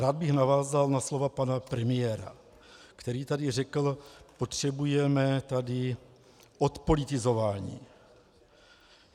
Rád bych navázal na slova pana premiéra, který tady řekl: potřebujeme tady odpolitizování.